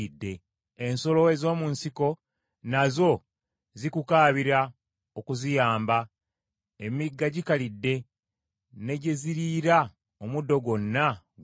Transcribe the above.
Ensolo ez’omu nsiko nazo zikukaabira okuziyamba, emigga gikalidde, ne gye ziriira, omuddo gwonna guyidde.